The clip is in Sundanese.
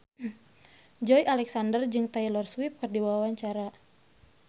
Joey Alexander jeung Taylor Swift keur dipoto ku wartawan